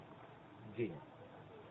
день